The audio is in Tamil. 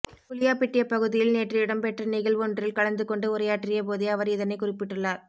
குளியாபிட்டிய பகுதியில் நேற்று இடம்பெற்ற நிகழ்வொன்றில் கலந்து கொண்டு உரையாற்றிய போதே அவர் இதனைக் குறிப்பிட்டுள்ளார்